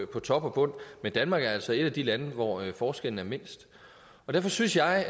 på top og bund men danmark er altså et af de lande hvor forskellen er mindst derfor synes jeg